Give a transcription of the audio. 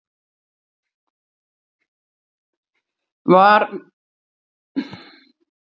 Var verið að fylgjast með gangi mála fyrir norðan á bekknum?